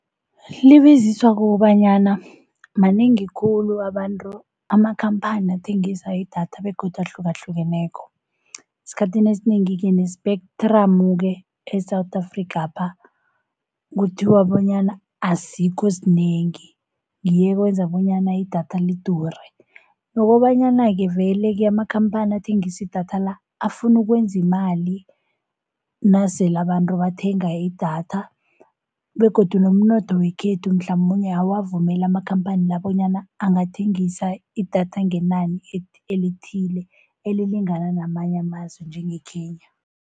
Libiziswa kukobanyana manengi khulu abantu amakhamphani athengisa idatha begodu ahlukahlukeneko. Esikhathini esinengi-ke ne-spectrum-ke e-South Afrikhapha kuthiwa bonyana asikho sinengi ngiyo eyenza bonyana idatha lidure. Nokobanyana-ke vele-ke amakhamphani athengisa idatha-a afuna ukwenza imali nasele abantu bathenga idatha. Begodu nomnotho wekhethu mhlamunye awuwavumeli amakhamphani la, bonyana angathengisa idatha ngenani elithile elilingana namanye amazwe njengeKenya.